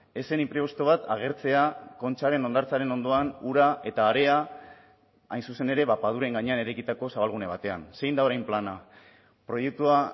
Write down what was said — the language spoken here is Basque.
ez zen inprebisto bat agertzea kontxaren hondartzaren ondoan ura eta harea hain zuzen ere paduren gainean eraikitako zabalgune batean zein da orain plana proiektua